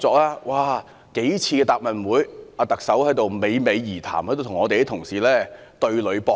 特首多次在答問會上侃侃而談，與我們的同事對壘搏擊。